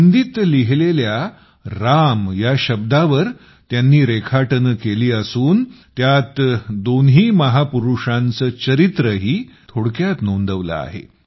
हिंदीत लिहिलेल्या राम या शब्दावर त्यांनी रेखाटने केली असून त्यात दोन्ही महापुरुषांचे चरित्रही थोडक्यात नोंदवले आहे